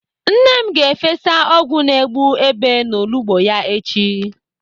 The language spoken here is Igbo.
Nne m ga-efesa ọgwụ na-egbu Èbè n'olugbo ya echi.